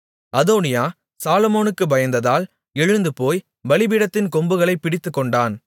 அதோனியா சாலொமோனுக்குப் பயந்ததால் எழுந்துபோய் பலிபீடத்தின் கொம்புகளைப் பிடித்துக்கொண்டான்